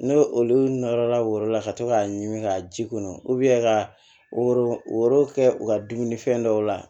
N'o olu nɔrɔla woro la ka to k'a ɲimi ka ji kɔnɔ ka woro woro kɛ u ka dumunifɛn dɔw la